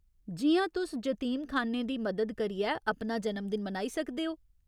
जि'यां तुस जतीमखान्नें दी मदद करियै अपना जन्मदिन मनाई सकदे ओ।